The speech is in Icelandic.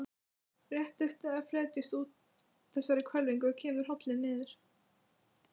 Réttist eða fletjist úr þessari hvelfingu, kemur holilin niður.